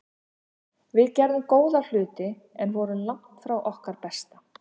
Við gerðum góða hluti en vorum langt frá okkar besta.